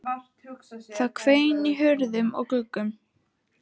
Það hvein í hurðum og gluggum.